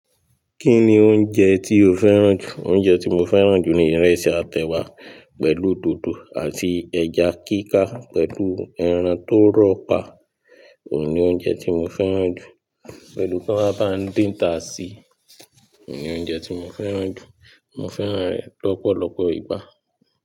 Kí ni oúnjẹ tí o fẹ́ràn jù? Oúnjẹ tí mo fẹ́ràn jù ni ìrẹsì atẹ wá pẹ̀lú dòdò àti ẹja kíká pẹ̀lú ẹran tó rọ́pà òun ni oúnjẹ tí mo fẹ́ràn jù. Pẹ̀lú kí wọ́n máa bá din táa sí, òun ni oúnjẹ tí mo fẹ́ràn jù. Mo fẹ́ràn rẹ̀ lọ́pọ̀lọpọ̀ ìgbà.